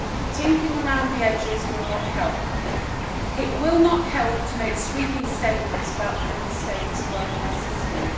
Tinkering around the edges will not help. It will not help to make sweeping statements about Member States' welfare systems